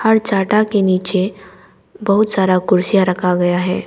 के नीचे बहुत सारा कुर्सियां रखा गया है।